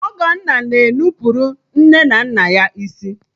Ọgọnna na e nupụrụ nne na nna ya isi